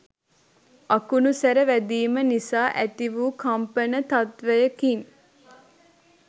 අකුණුසැර වැදීම නිසා ඇති වු කම්පන තත්ත්වයකින්